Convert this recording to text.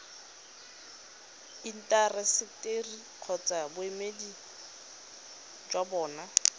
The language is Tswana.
intaseteri kgotsa boemedi jwa bona